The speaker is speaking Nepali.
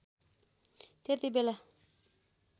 त्यती बेला